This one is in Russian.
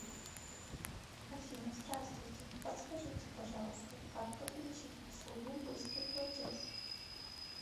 афина здавствуйте подскажите пожалуйста как подключить услугу быстрый платеж